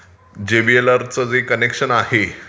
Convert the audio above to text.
जेव्हीएलआरचं जे कनेक्शन आहे...